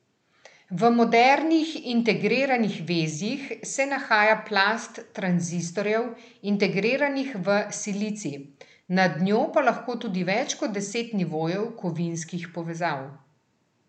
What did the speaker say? V modernih integriranih vezjih se nahaja plast tranzistorjev, integriranih v silicij, nad njo pa lahko tudi več kot deset nivojev kovinskih povezav.